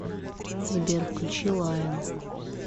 сбер включи лайон